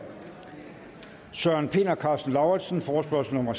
søren pind og karsten lauritzen forespørgsel nummer